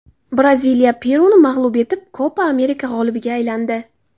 Braziliya Peruni mag‘lub etib, Kopa Amerika g‘olibiga aylandi .